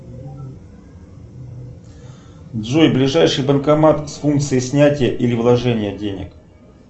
джой ближайший банкомат с функцией снятия или вложения денег